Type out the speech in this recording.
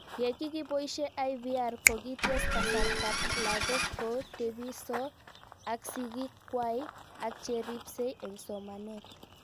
Ye kikipoishe IVR ko kites kasartab lakokkotepiso ak sigik kwai ak cheripse eng' somanet